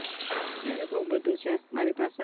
અરે બૌ બધું છે મારી પાસે